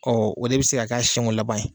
Ɔ o de bɛ se ka kɛ a siɲɛ ko laban ye.